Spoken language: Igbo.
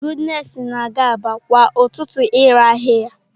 Goodness na-aga Aba kwa ụtụtụ ire ahịa ya.